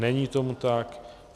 Není tomu tak.